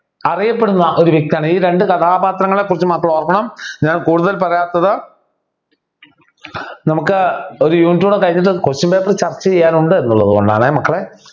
അറിയപ്പെടുന്ന ഒരു വ്യക്തിയാണ് ഈ രണ്ടു കഥാപാത്രങ്ങളെ കുറിച്ച് മക്കൾ ഓർക്കണം ഞാൻ കൂടുതൽ പറയാത്തത് നമുക്ക് ഒരു unit കൂടെ കഴിഞ്ഞിട്ട് Question paper ചർച്ച ചെയ്യാനുണ്ട് എന്നുള്ളത് കൊണ്ടാണെ മക്കളെ